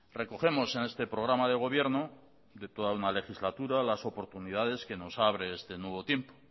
recogemos en este programa de gobierno de toda una legislatura las oportunidades que nos abre este nuevo tiempo